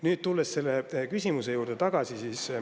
Nüüd tulen küsimuse juurde tagasi.